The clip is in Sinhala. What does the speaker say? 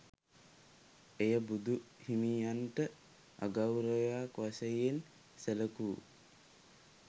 එය බුදුහිමියනට අගෞරවයක් වශයෙන් සැලකූ